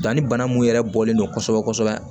Danni bana min yɛrɛ bɔlen don kosɛbɛ kosɛbɛ